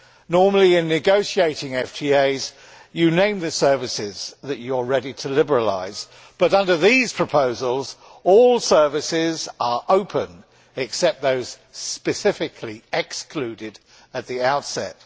Normally, in negotiating FTAs, you name the services that you are ready to liberalise. But under these proposals, all services are open, except those specifically excluded at the outset.